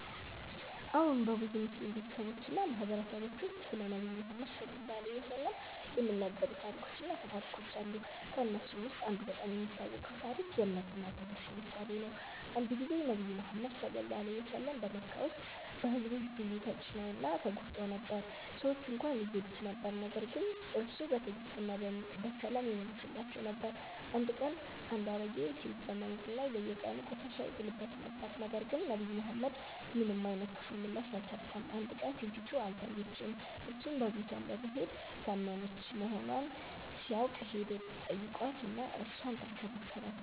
አዎን፣ በብዙ ሙስሊም ቤተሰቦች እና ማህበረሰቦች ውስጥ ስለ ነብዩ መሐመድ (ሰ.ዐ.ወ) የሚነገሩ ታሪኮች እና አፈ ታሪኮች አሉ። ከእነሱ ውስጥ አንዱ በጣም የሚታወቀው ታሪክ የ“እምነት እና ትዕግስት” ምሳሌ ነው። አንድ ጊዜ ነብዩ መሐመድ (ሰ.ዐ.ወ) በመካ ውስጥ በሕዝቡ ብዙ ተጭነው እና ተጎድተው ነበር። ሰዎች እንኳን ይጎዱት ነበር ነገር ግን እርሱ በትዕግስት እና በሰላም ይመልሳቸው ነበር። አንድ ቀን አንድ አሮጌ ሴት በመንገድ ላይ በየቀኑ ቆሻሻ ይጥልበት ነበር፣ ነገር ግን ነብዩ መሐመድ ምንም አይነት ክፉ ምላሽ አልሰጠም። አንድ ቀን ሴቲቱ አልታየችም፣ እርሱም በቤቷ በመሄድ ታመመች መሆኗን ሲያውቅ ሄዶ ተጠይቋት እና እርሷን ተንከባከባት።